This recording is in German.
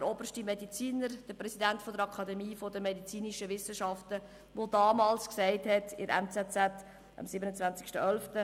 Der oberste Mediziner, der Präsident der Akademie der Medizinischen Wissenschaften (SAMW), hat am 27. November Folgendes in der «NZZ» gesagt: «[…]